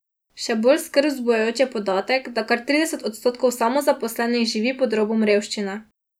Še bolj skrb vzbujajoč je podatek, da kar trideset odstotkov samozaposlenih živi pod robom revščine.